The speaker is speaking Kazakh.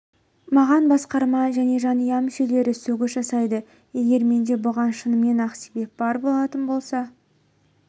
маған басқарма және жанұя мүшелері сөгіс жасайды егер менде бұған шынымен-ақ себеп бар болатын болса